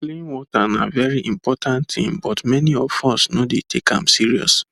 clean water na very important thing but many of us no dey take am serious